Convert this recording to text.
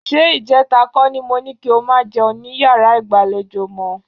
Ṣé ìjẹta kọ́ ni mo ní kí o máa jẹun ní yàrá ìgbàlejò mọ́?